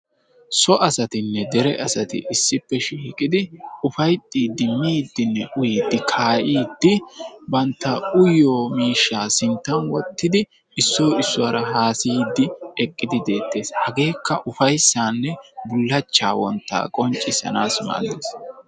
So asatinne dere asati issippe shiiqidi ufayttiiddinne kaa"iiddi bantta uyiyo miishshaa sinttan wottidi issoyi issuwara haasayiiddi eqqidi be"eettes hageekka ufayissaanne bullachchaa wonttaa qonccissanaassi maaddes